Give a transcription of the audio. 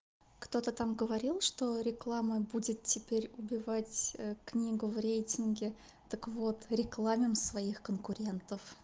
кто-то там говорил что реклама будет теперь убивать книгу в рейтинге так вот рекламим своих конкурентов